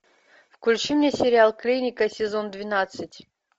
включи мне сериал клиника сезон двенадцать